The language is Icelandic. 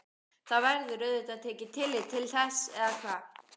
Það verður auðvitað tekið tillit til þess eða hvað?